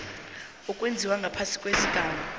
owenziwe ngaphasi kwesigaba